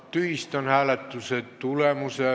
Tühistan hääletuse tulemuse.